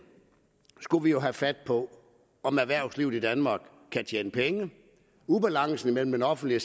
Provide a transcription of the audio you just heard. skulle vi jo have fat på om erhvervslivet i danmark kan tjene penge ubalancen mellem den offentlige